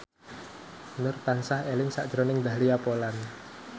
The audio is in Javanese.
Nur tansah eling sakjroning Dahlia Poland